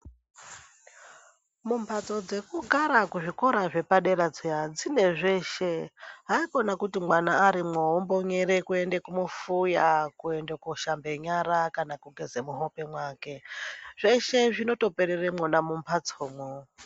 Mumbatso dzekugara muzvikora zvepadera zviya zveshe. Haikona kuti mwana arimwo vombonyere kuende kumufuya koende koshamba nyara kana kugeze muhope mwake. Zveshe zvinotoperere mwona mumhatsomwo.